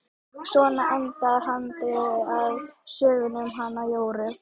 Svona endar handritið að sögunni um hana Jóru.